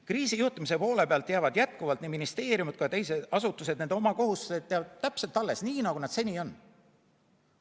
Kriisijuhtimise poole pealt jäävad jätkuvalt nii ministeeriumidele kui ka teistele asutustele nende kohustused alles, täpselt nii, nagu nad seni on.